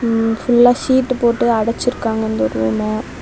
ம் ஃபுல்லா சீட்டு போட்டு அடச்சிருக்காங்க இந்த ரூம்ம .